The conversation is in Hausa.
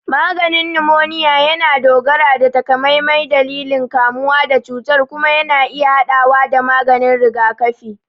Maganin numoniya yana dogara da takamaiman dalilin kamuwa da cutar kuma yana iya haɗawa da maganin rigakafi.